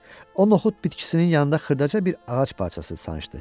O noxud bitkisinin yanında xırdaca bir ağac parçası sancdı.